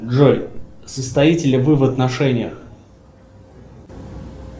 джой состоите ли вы в отношениях